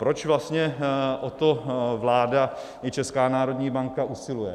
Proč vlastně o to vláda i Česká národní banka usiluje?